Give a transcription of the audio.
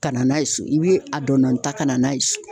Ka na n'a ye so i be a dɔndɔninta ka na n'a ye so